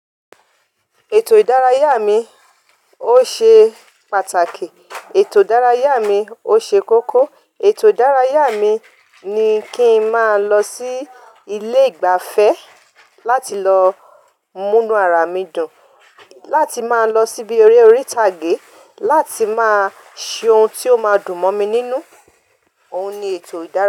Ètò ìdárayá mi ó ṣe pàtàkì, ètò ìdárayá mi ó ṣe kókó, ètò ìdárayá mi ni kí n máa lọ sí ilé ìgbafẹ́ láti lọ mú inú ara mi dùn, láti máa lọ síbi eré orí ìtàgé láti máa ṣe ohun tí ó máa dùn mọ́ mi nínú. Òun ni eto idara.